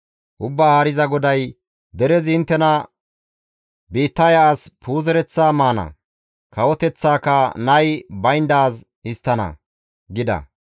«Ubbaa Haariza GODAY: derezi inttena, ‹Biittaya as puuzereththa maana; kawoteththaaka nay bayndaaz histtana› gida.